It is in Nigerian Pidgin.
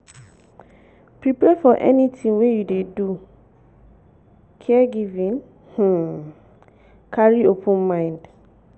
prepare for anything when you dey do caregiving um carry open mind